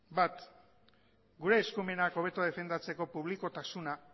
bat gure eskumenak hobeto defendatzeko publikotasuna